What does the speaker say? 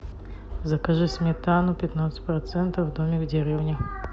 закажи сметану пятнадцать процентов домик в деревне